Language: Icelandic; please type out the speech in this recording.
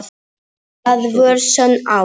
Það var sönn ást.